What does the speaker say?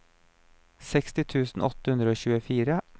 seksti tusen åtte hundre og tjuefire